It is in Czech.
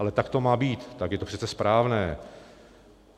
Ale tak to má být, tak je to přece správné.